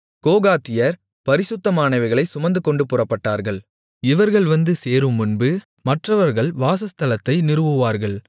கோகாத்தியர் பரிசுத்தமானவைகளைச் சுமந்துகொண்டு புறப்பட்டார்கள் இவர்கள் வந்து சேருமுன்பு மற்றவர்கள் வாசஸ்தலத்தை நிறுவுவார்கள்